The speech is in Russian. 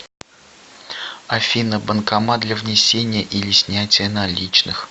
афина банкомат для внесения или снятия наличных